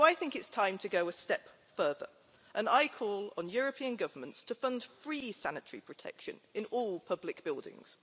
It's time to go a step further, and I call on European governments to fund free sanitary protection in all public buildings.